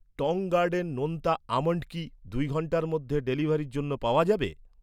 টং গার্ডেন নোনতা আমণ্ড কি দুই ঘন্টার মধ্যে ডেলিভারির জন্য পাওয়া যাবে?